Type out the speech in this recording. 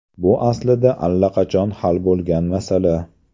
Bu aslida allaqachon hal bo‘lgan masala.